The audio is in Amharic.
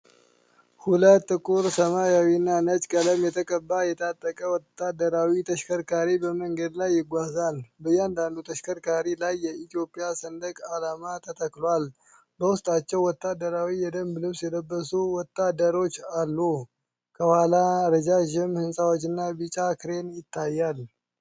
ሁለት ጥቁር ሰማያዊና ነጭ ቀለም የተቀባ የታጠቀ ወታደራዊ ተሽከርካሪ በመንገድ ላይ ይጓዛል። በእያንዳንዱ ተሽከርካሪ ላይ የኢትዮጵያ ሰንደቅ ዓላማ ተተክሏል፣ በውስጣቸው ወታደራዊ የደንብ ልብስ የለበሱ ወታደሮች አሉ። ከኋላ ረጃጅም ሕንፃዎችና ቢጫ ክሬን ይታያል።